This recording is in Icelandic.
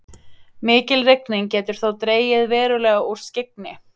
Mikil rigning getur þó dregið verulega úr skyggni.